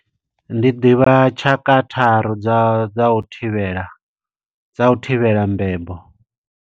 Ndi ḓivha tshaka tharu dza u, dza u thivhela, dza u thivhela mbebo.